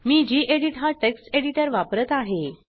मी gedit हा text editor वापरत आहे